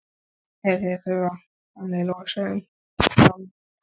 Og ef þér þurfið panil og saum, þá lána ég.